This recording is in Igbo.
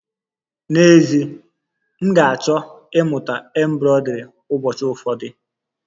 N'ezie, m ga-achọ ịmụta embroidri ụbọchị ụfọdụ